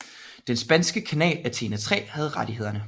Den spanske kanal Antena 3 havde rettighederne